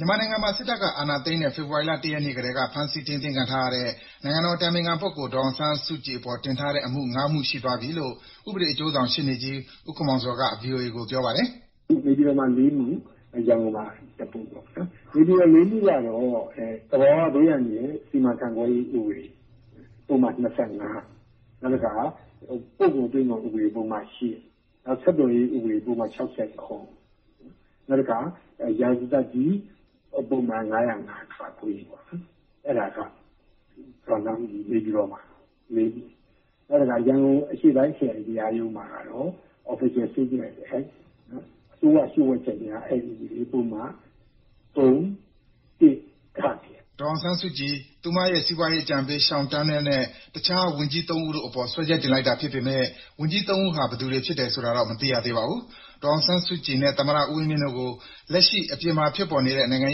မြန်မာနိုင်ငံမှာ စစ်တပ်ကအာဏာသိမ်းတဲ့ ဖေဖော်ဝါရီလ ၁ ရက်နေ့ကတည်းက ဖမ်းဆီး ထိန်းသိမ်းခံထားရတဲ့ နိုင်ငံတော်အတိုင်ပင်ခံပုဂ္ဂိုလ် ဒေါ်အောင်ဆန်းစုကြည်အပေါ် စွဲတင်ထားတဲ့အမှု ၅ မှု ရှိသွားပြီလို့ ဥပဒေအကျိုးဆောင် ရှေ့နေကြီး ဦးခင်မောင်ဇော်က ဗွီအိုအေကို ပြောပါတယ်။ " နေပြည်တော်မှာ ၄ မူ၊ ရန်ကုန်မှာ ၁ မူ ပေါ့။ နေပြည်တော် ၄ မူ့ ကတော သဘာဝဘေးအန္တရာယ်စီမံခန့်ခွဲမူ ဥပဒေ ပုဒမ ၂၅ ၊ နောက်တခါ ပို့ကုန်သွင်းကုန် ဥပဒေ ပုဒ်မ ၈ ၊ နောက်တခါ ဆက်သွယ်ရေးဥပဒေ ၆၇၊ နောက်တခါ ရာဇသတ်ကြီးပုဒ်မ ၅ဝ၅ ခ ပေါ့။ နေပြည်တော်မှာ ။ နောက်တခါ ရန်ကုန် အရှေ့ပိုင်းခရိုင်တရားရုံးမှာကတော့ အစိုးရလျှို့ဝှက်ချက် အက်ဥပဒေပုဒ်မ ၃၁ ဂပေါ့" ဒေါ်အောင်ဆန်းစုကြည်၊ သူ့ရဲ့ စီးပွားရေးအကြံပေး Sean Turnell နဲ့ တခြား ဝန်ကြီး ၃ ဦးတို့အပေါ် စွဲချက်တင်လိုက်တာဖြစ်ပေမယ့် ဝန်ကြီး ၃ ဦးဟာ ဘယ်သူတွေဖြစ်တယ်ဆိုတာတော့ မသိရသေးပါဘူး။ ဒေါ်အောင်ဆန်းစုကြည်နဲ့ သမ္မတဦးဝင်းမြင့်တို့ကို လက်ရှိအပြင်မှာ ဖြစ်ပေါ်နေတဲ့ နိုင်ငံ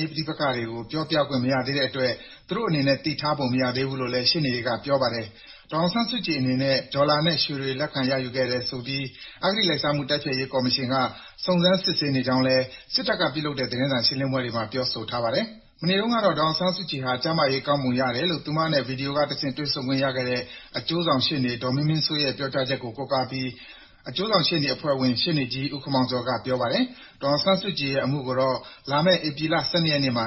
ရေးပဋိပက္ခတွေကို ပြောပြခွင့်မရသေးတဲ့အတွက် သူတို့အနေနဲ့ သိထားပုံမရဘူးလို့လည်း ရှေ့နေတွေက ပြောပါတယ်။ ဒေါ်အောင်ဆန်းစုကြည်အနေနဲ့ ဒေါ်လာနဲ့ ရွှေတွေ လက်ခံရယူခဲ့တယ်ဆိုပြီး အဂတိလိုက်စားမှု တိုက်ဖျက်ရေးကော်မရှင်က စုံစမ်းစစ်ဆေးနေကြောင်းလည်း စစ်တပ်ကပြုလုပ်တဲ့ သတင်းစာရှင်းလင်းပွဲတွေမှာ ပြောဆိုထားပါတယ်။ မနေ့တုန်းကတော့ ဒေါ်အောင်ဆန်းစုကြည်ဟာ ကျန်းမာရေးကောင်းပုံရတယ်လို့ သူမနဲ့ ဗွီဒီယိုကတဆင့် တွေ့ဆုံခွင့်ရခဲ့တဲ့ အကျိုးဆောင်ရှေ့နေ ဒေါ်မင်းမင်းစိုးရဲ့ ပြောကြားချက်ကို ကိုးကားပြီး အကျိုးဆောင်ရှေ့နေအဖွဲ့ဝင် ရှေ့နေကြီး ဦးခင်မောင်ဇော်က ပြောပါတယ်။ ဒေါ်အောင်ဆန်းစုကြည်အတွက် နောက်ထပ်ရုံးချိန်းကို ဧပြီလ ၁၂ ရက်နေ့မှာ